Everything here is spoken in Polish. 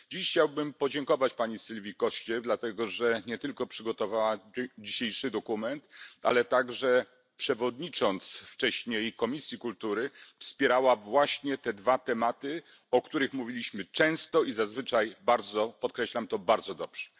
Dziś chciałbym podziękować pani Sylvii Coście, dlatego że nie tylko przygotowała dzisiejszy dokument, ale także przewodnicząc wcześniej Komisji Kultury, wspierała właśnie te dwa tematy, o których mówiliśmy często i zazwyczaj bardzo podkreślam to bardzo dobrze.